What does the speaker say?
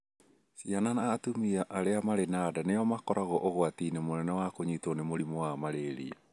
Ciana na atumia arĩa marĩ na nda nĩo makoragwo ũgwati-inĩ mũnene wa kũnyitwo nĩ mũrimũ wa malaria.